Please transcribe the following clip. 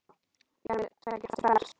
Í armi seggja kraftur felst.